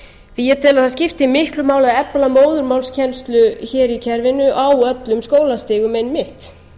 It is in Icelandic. því að ég tel að það skipti miklu máli að efla móðurmálskennslu hér í kerfinu á öllum skólastigum einmitt